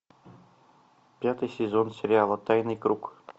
пятый сезон сериала тайный круг